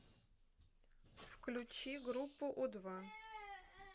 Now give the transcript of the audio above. включи группу у два